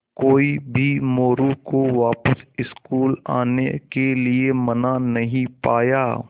कोई भी मोरू को वापस स्कूल आने के लिये मना नहीं पाया